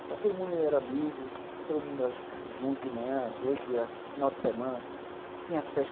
Então, todo mundo era amigo, todo mundo era o tempo junto, de manhã à noite, era final de semana. Tinha festa